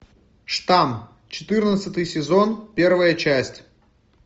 штамм четырнадцатый сезон первая часть